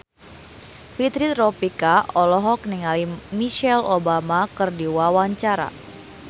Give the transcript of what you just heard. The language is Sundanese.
Fitri Tropika olohok ningali Michelle Obama keur diwawancara